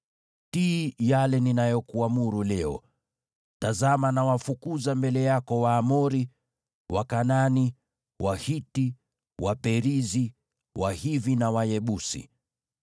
Tii yale ninayokuamuru leo. Tazama nawafukuza mbele yako Waamori, Wakanaani, Wahiti, Waperizi, Wahivi na Wayebusi.